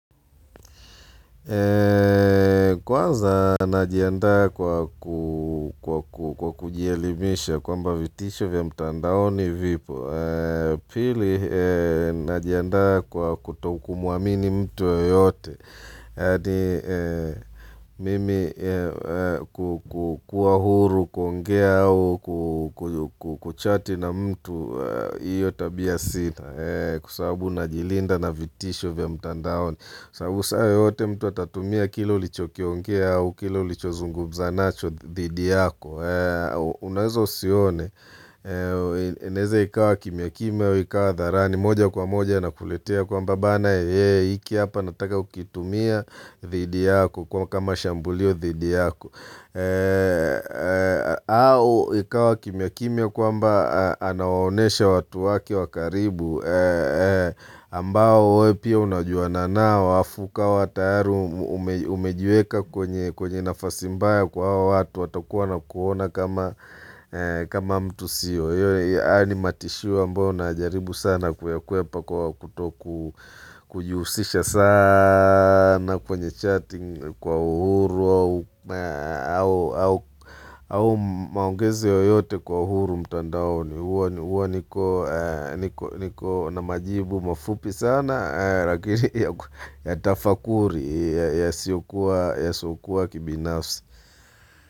Kwaanza najiandaa kwa ku kwa kujielimisha kwamba vitisho vya mtandaoni vipo Pili najiandaa kwa kutokumuamini mtu yoyote Mimi kukua huru kuongea au kuchati na mtu iyo tabia sina Kwa sababu na jilinda na vitisho vya mtandaoni sababu saa yoyote mtu atatumia kile ulicho kiongea au kile ulicho zungumza nacho dhidi yako Unaweza usione inaeza ikawa kimya kimya au ikawa adharani moja kwa moja na kuletea kwamba bana Iki hapa nataka kukitumia dhidi yako kuwa kama shambulio dhidi yako au ikawa kimya kimya kwamba anawaonesha watu wake wakaribu ambao pia unajuana nao alafu ukawa tayari umejiweka kwenye nafasi mbaya kwa watu watakuwa wana kuona kama mtu siyo hayo ni matishio ambao unajaribu sana kuyakwepa kwa kutoku kujiusisha sana kwenye chatting kwa uhuru au au maongezi yoyote kwa uhuru mtandaoni huo niko na majibu mafupi sana ya tafakuri ya siokuwa ya kibinafsi.